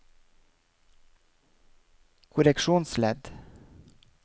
korreksjonsledd